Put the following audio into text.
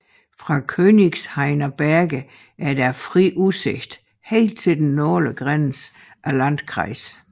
Fra Königshainer Berge er der fri udsigt helt til den nordlige grænse af landkreisen